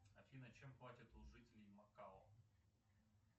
афина чем платят у жителей макао